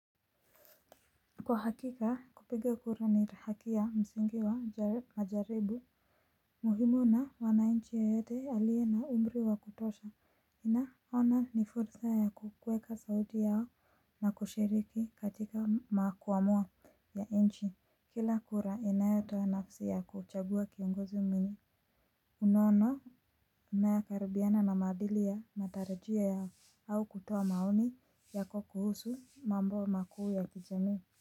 Kwa hakika kupiga kura ni haki ya msingi wa majaribu. Muhimu na mwanainchi yoyote alie na umri wa kutosha ana ona ni fursa ya kuweka sauti yao na kushiriki katika makuamua ya nchi kila kura inayotoa nafsi ya kuchagua kiongozi mimi. Unaono unayakaribiana na madhili ya matarajio yao au kutoa maoni yako kuhusu mambo makuu ya kijamii.